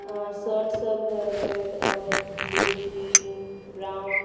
Shirt सब है red orange blue green brown.